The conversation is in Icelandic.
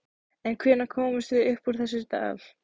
En hvenær komumst við upp úr þessum dal?